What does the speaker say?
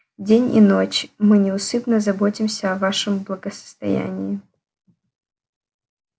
день и ночь мы неусыпно заботимся о вашем благосостоянии